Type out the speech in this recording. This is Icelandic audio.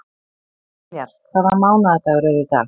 Vinjar, hvaða mánaðardagur er í dag?